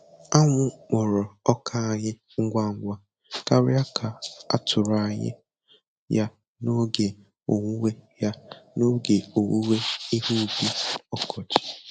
Anwụ kpọrọ ọka anyị ngwa ngwa karịa ka a tụrụ anya ya n'oge owuwe ya n'oge owuwe ihe ubi ọkọchị